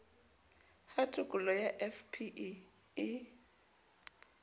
ha tokollo ya fpe e